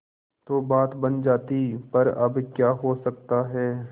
तो बात बन जाती पर अब क्या हो सकता है